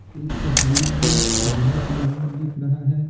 इस तस्वीर में बहुत इमारत दिख रहा है।